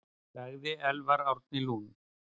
Sagði Elvar Árni Lund.